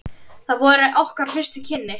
Það voru okkar fyrstu kynni.